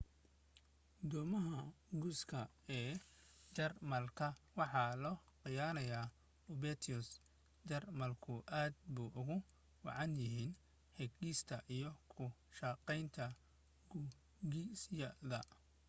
doomaha gujiska ee jarmalka waxa loo yaqaanay u-boats jarmalku aad bay ugu wacnaayeen hagista iyo ku shaqaynta gujisyadooda